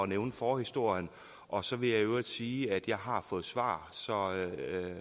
nævne forhistorien og så vil jeg i øvrigt sige at jeg har fået svar så